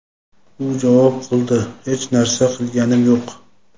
U javob qildi: Hech narsa qilganim yo‘q.